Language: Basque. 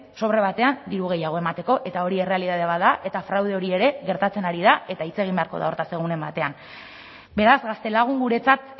sobre batean diru gehiago emateko eta hori errealitate bat da eta fraude hori ere gertatzen ari da eta hitz egin beharko da hortaz egunen batean beraz gaztelagun guretzat